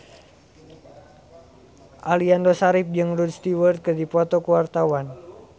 Aliando Syarif jeung Rod Stewart keur dipoto ku wartawan